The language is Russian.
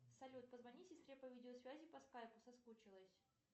салют позвони сестре по видеосвязи по скайпу соскучилась